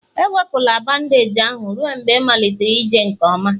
ewepụla bandeeji ahụ ruo mgbe ịmalite ije nke ọma